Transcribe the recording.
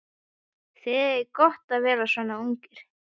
Þið eigið gott að vera svona ungir.